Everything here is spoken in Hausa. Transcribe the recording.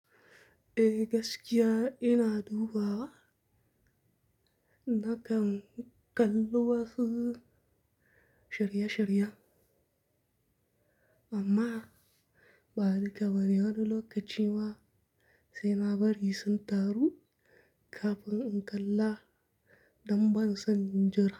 Eh gaskiya ina dubawa nakan kallo wasu sharya sharya amma ba'a rika wani wani lokaci ma sai nabari su taro kafin in kalla damban san injra.